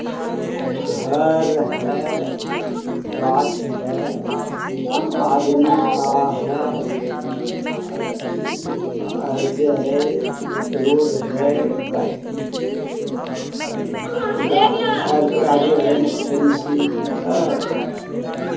घर है गाछ है आदमी खड़ा है और जे है रोड है घर का जो है फैंसी ह।